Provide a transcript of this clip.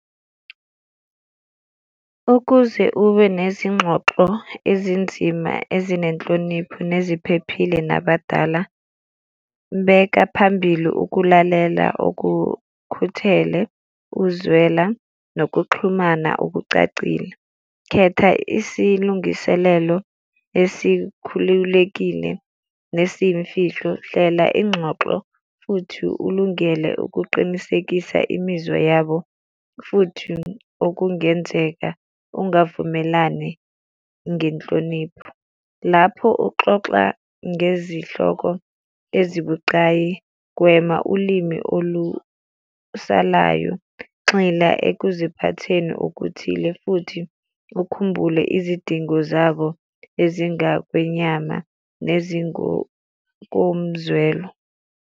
Ukuze ube nezingxoxo ezinzima ezinenhlonipho neziphephile nabadala. Beka phambili ukulalela okukhuthele, ukuzwela, nokuxhumana okucacile. Khetha isilungiselelo esikhululekile nesiyimfihlo. Hlela ingxoxo futhi ulungele ukuqinisekisa imizwa yabo, futhi okungenzeka ungavumelani ngenhlonipho. Lapho uxoxa ngezihloko ezibucayi, gwema ulimi olusalayo. Gxila ekuziphatheni okuthile futhi ukhumbule izidingo zabo ezingakwenyama nezingokomzwelo.